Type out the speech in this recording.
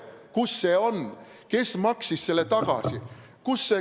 Kus see on, kes maksis selle tagasi?